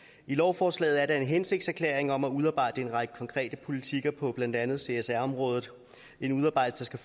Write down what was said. i lovforslaget er der en hensigtserklæring om at udarbejde en række konkrete politikker på blandt andet csr området en udarbejdelse